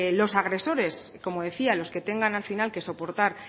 los agresores como decía los que tengan al final que soportar